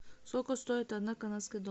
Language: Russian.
сколько стоит одна канадская